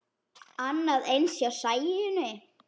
Annað eins hjá Sæunni.